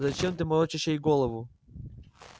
зачем ты морочишь ей голову